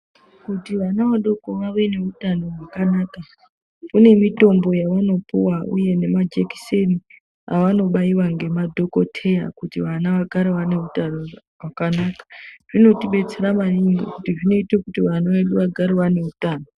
Kuti ana adoko ave neutano hwakanaka pane mitombo yaanopiwa uye nemajekiseni avanobaiwa ngemadhokoteya kuti vana vagare vane utano hwakanaka . Zvinodetsera maningi ngekuti zvinoita kuti vana vedu vagare vane utano.